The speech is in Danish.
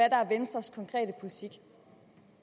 er venstres konkrete politik